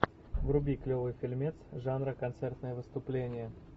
вруби клевый фильмец жанра концертное выступление